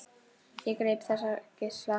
Og ég greip þessa geisla.